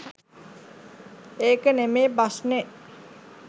ඒක නෙමේ ප්‍රශ්නෙ